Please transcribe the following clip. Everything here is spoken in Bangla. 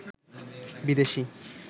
বিদেশি